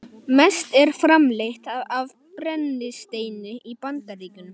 Mest er framleitt af brennisteini í Bandaríkjunum